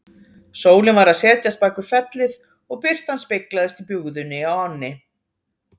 Sólin var að setjast bak við fellið og birtan speglaðist í bugðunni á ánni.